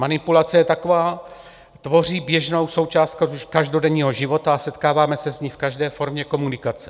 Manipulace je taková, tvoří běžnou součást každodenního života a setkáváme se s ní v každé formě komunikace.